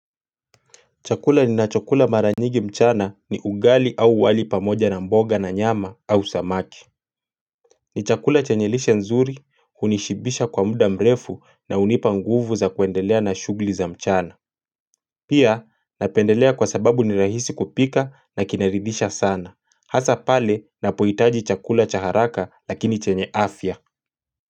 Chakula ninacho kula maranyigi mchana ni ugali au wali pamoja na mboga na nyama au samaki ni chakula chanye lishe nzuri, unishibisha kwa muda mrefu na unipa nguvu za kuendelea na shugli za mchana Pia napendelea kwa sababu ni rahisi kupika na kinaridhisha sana, hasa pale napoitaji chakula cha haraka lakini chenye afya.